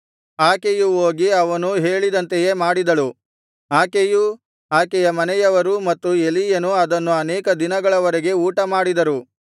ಆಕೆಯು ಹೋಗಿ ಅವನು ಹೇಳಿದಂತೆಯೇ ಮಾಡಿದಳು ಆಕೆಯೂ ಆಕೆಯ ಮನೆಯವರೂ ಮತ್ತು ಎಲೀಯನು ಅದನ್ನು ಅನೇಕ ದಿನಗಳವರೆಗೆ ಊಟಮಾಡಿದರು